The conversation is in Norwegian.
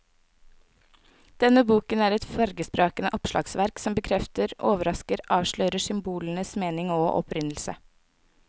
Denne boken er et fargesprakende oppslagsverk som bekrefter, overrasker og avslører symbolenes mening og opprinnelse.